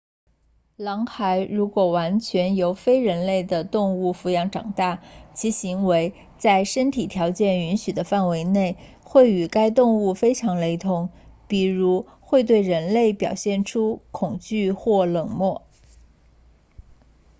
狼孩如果完全由非人类的动物抚养长大其行为在身体条件允许的范围内会与该动物非常雷同比如会对人类表现出恐惧或冷漠